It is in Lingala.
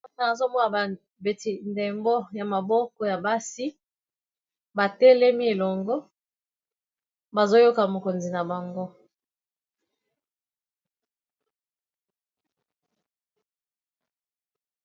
Awa nazomona babeti ndembo ya maboko ya basi batelemi elongo bazoyoka mokonzi na bango